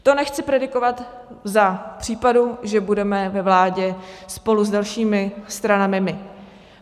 To nechci predikovat za případu, že budeme ve vládě spolu s dalšími stranami my.